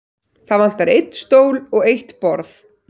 Það vantar einn stól og eitt borð.